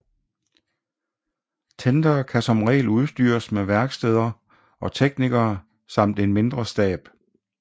Tendere kan som regel udstyres med værksteder og teknikere samt en mindre stab